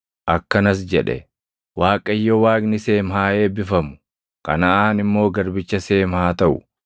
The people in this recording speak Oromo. Akkanas jedhe; “ Waaqayyo Waaqni Seem haa eebbifamu! Kanaʼaan immoo garbicha Seem haa taʼu.